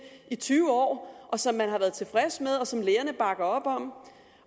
i tyve år som man har været tilfreds med og som lægerne bakker op om